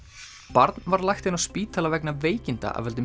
barn var lagt inn á spítala vegna veikinda af völdum